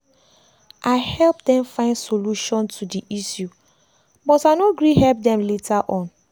i help dem find solution to the issue but i no gree help them later on.